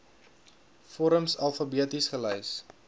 vorms alfabeties gelys